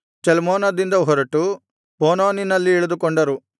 ಚಲ್ಮೋನದಿಂದ ಹೊರಟು ಪೂನೋನಿನಲ್ಲಿ ಇಳಿದುಕೊಂಡರು